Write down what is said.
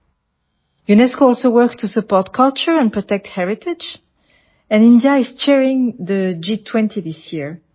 UNESCO also works to support culture and protect heritage and India is sharing the G20 this year